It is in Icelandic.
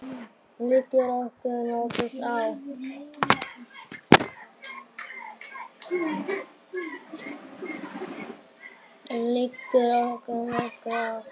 Liggur okkur nokkuð á?